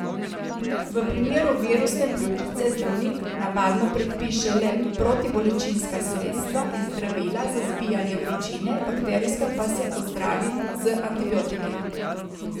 V primeru virusne pljučnice zdravnik navadno predpiše le protibolečinska sredstva in zdravila za zbijanje vročine, bakterijska pa se ozdravi z antibiotiki.